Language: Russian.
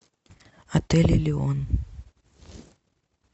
отель элеон